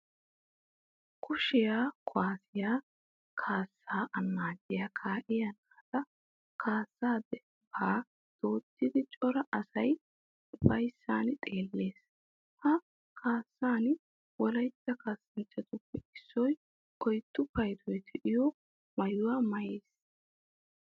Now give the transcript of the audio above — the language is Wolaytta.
Kushiya kuwaasiya kaassaa annaaciya kaa'iya naata kaassa dembbaa dooddidi cora asay ufayssan xeellees. Ha kaassan wolahetta kaassanchchatuppe issoy oyddu paydoy diyo maayuwa maayiis.